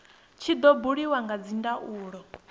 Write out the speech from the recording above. tshi do buliwa kha dzindaulo